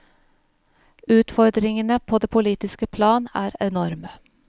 Utfordringene på det politiske plan er enorme.